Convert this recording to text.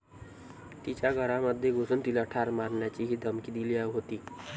तिच्या घरामध्ये घुसून तिला ठार मारण्याचीही धमकी दिली होती.